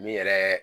Min yɛrɛ